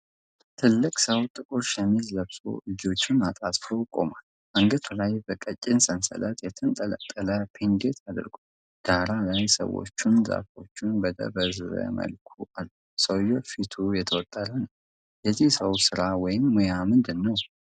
ትልቅ ሰው ጥቁር ሸሚዝ ለብሶ እጆቹን አጣጥፎ ቆሟል። አንገቱ ላይ በቀጭን ሰንሰለት የተንጠለጠለ ፔንደንት አድርጓል። ዳራ ላይ ሰዎችና ዛፎች በደበዘዘ መልኩ አሉ። ሰውየው ፊት የተወጠረ ነው። የዚህ ሰው ስራ ወይም ሙያ ምንድን ነው?